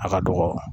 A ka dɔgɔ